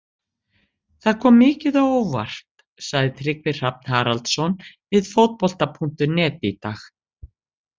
Það kom mikið á óvart, sagði Tryggvi Hrafn Haraldsson við Fótbolta.net í dag.